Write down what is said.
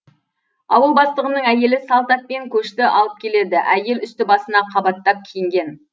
ауыл бастығының әйелі салт атпен көшті алып келеді әйел үсті басына қабаттап киінген